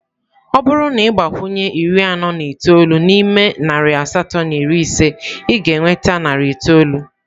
Ọ bụrụ na ị gbakwunye iri anọ na itoolu n'ime narị asatọ na iri ise, ị ga-enweta narị itoolu.